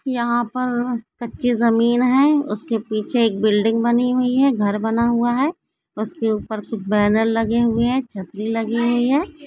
यहां पर कच्ची जमीन है उसके पीछे एक बिल्डिंग बनी हुई है घर बना हुआ है उसके ऊपर कुछ बैनर लगे हुए हैं छतरी लगी हुई है।